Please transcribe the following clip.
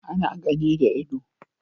Ana gani da ido